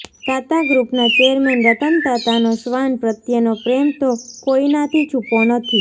તાતા ગ્રુપના ચેરમેન રતન તાતાનો શ્વાન પ્રત્યેનો પ્રેમ તો કોઈનાથી છુપો નથી